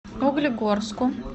углегорску